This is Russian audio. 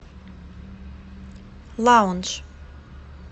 лаундж